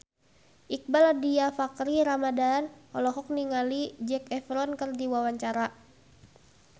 Iqbaal Dhiafakhri Ramadhan olohok ningali Zac Efron keur diwawancara